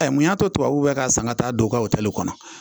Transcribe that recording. Mun y'a to tubabu kan ka san ka taa don o ka kɔnɔ